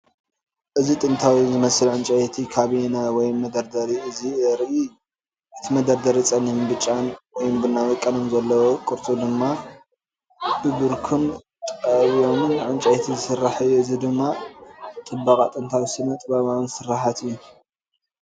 እዚ ጥንታዊ ዝመስል ዕንጨይቲ ካቢነ ወይ መደርደሪ ዘርኢ እዩ። እቲ መደርደሪ ጸሊምን ብጫን (ወይ ቡናዊ) ቀለም ዘለዎ፣ ቅርጹ ድማ ብክቡርን ጠውዮምን ዕንጨይቲ ዝስራሕ እዩ። እዚ ድማ ጽባቐ ጥንታዊን ስነ-ጥበባውን ስርሓት እዩ።